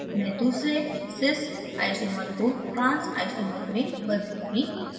मैं दूसरे cis isomer को trans isomer में बदलूँगी